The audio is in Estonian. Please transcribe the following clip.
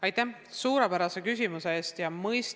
Aitäh suurepärase küsimuse eest!